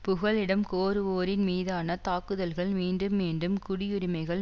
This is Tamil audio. புகலிடம் கோருவோரின்மீதான தாக்குதல்கள் மீண்டும் மீண்டும் குடியுரிமைகள்